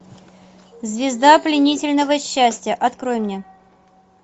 звезда пленительного счастья открой мне